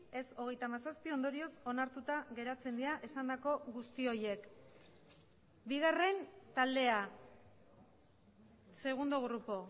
ez hogeita hamazazpi ondorioz onartuta geratzen dira esandako guzti horiek bigarren taldea segundo grupo